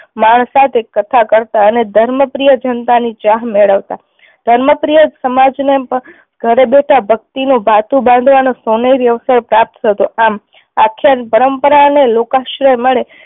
માણસ સાથે કથા કરતાં અને ધર્મ પ્રિય જનતા ની ચાહ મેળવતા. ધર્મ પ્રિય સમાજ ને ઘરે બેઠા ભક્તિ નું ભાથું બાંધવાનો સોનેરી અવસર પ્રાપ્ત થતો આમ આખ્યાન પરંપરા ને લોકાશ્રય મળે